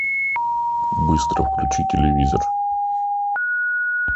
быстро включи телевизор